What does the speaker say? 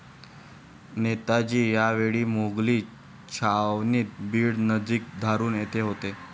नेताजी या वेळी मोघली छावणीत बीड नजीक धारूर येथे होते.